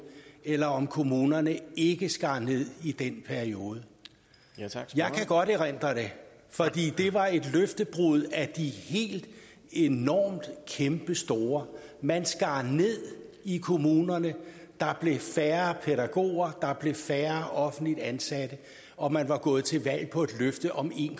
eller om kommunerne ikke skar ned i den periode jeg kan godt erindre det for det var et løftebrud af de helt enormt kæmpestore man skar ned i kommunerne der blev færre pædagoger der blev færre offentligt ansatte og man var gået til valg på et løfte om en